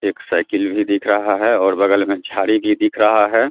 एक साइकिल भी दिख रहा है और बगल में झाड़ी भी दिख रहा है ।